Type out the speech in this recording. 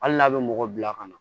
Hali n'a bɛ mɔgɔ bila ka na